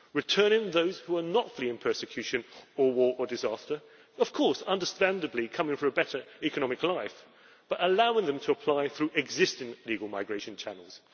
returning those who are not fleeing persecution or war or disaster of course understandably coming for a better economic life but allowing them to apply through existing legal migration channels